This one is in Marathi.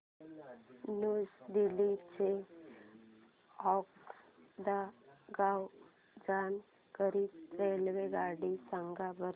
न्यू दिल्ली ते वास्को द गामा जाण्या करीता रेल्वेगाडी सांगा बरं